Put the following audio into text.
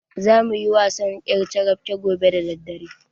Zamu yi wasan ƴarcarafke gobe da daddare.